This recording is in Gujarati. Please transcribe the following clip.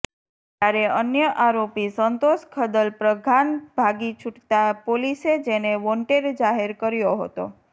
જયારે અન્ય આરોપી સંતોષ ખદલ પ્રઘાન ભાગી છુટતા પોલીસે જેને વોન્ટેડ જાહેર કર્યો હતો